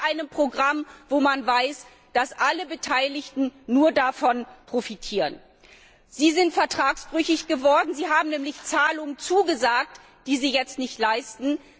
Aber doch nicht bei einem Programm, von dem man weiß, dass alle Beteiligten nur davon profitieren! Sie sind vertragsbrüchig geworden. Sie haben nämlich Zahlungen zugesagt, die Sie jetzt nicht leisten.